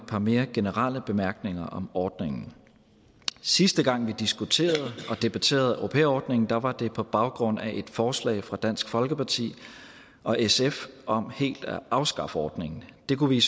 par mere generelle bemærkninger om ordningen sidste gang vi diskuterede og debatterede au pair ordningen var var det på baggrund af et forslag fra dansk folkeparti og sf om helt at afskaffe ordningen det kunne vi i